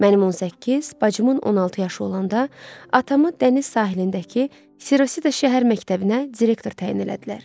Mənim 18, bacımın 16 yaşı olanda atamı dəniz sahilindəki Sirosida şəhər məktəbinə direktor təyin elədilər.